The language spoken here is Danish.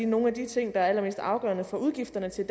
nogle af de ting der er allermest afgørende for udgifterne til